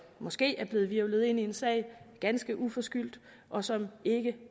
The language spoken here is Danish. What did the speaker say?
måske er blevet hvirvlet ind i en sag ganske uforskyldt og som ikke